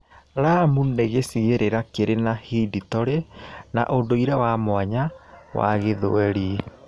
Lamu nĩ gĩcigĩrĩra kĩrĩ na hidtorĩ na ũndũire wa mwanya wa Gĩthweri.